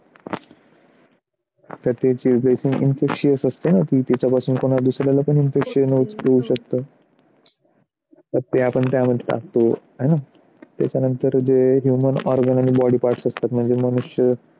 तर त्याचे dressing infection असते हाय ना? की त्याच्यापासून दुसऱ्याला पण infection होऊ शकतो तर ते आपण त्यामध्ये टाकतो आहे ना त्याच्यानंतर human organs आणि body parts असतात. त्याचे मनुष्य